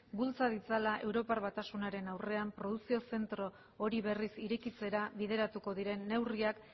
bultza ditzala europa batasunaren aurrera produkzio zentro hori berriz irekitzera bideratuko diren neurriak